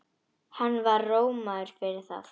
Hann var rómaður fyrir það.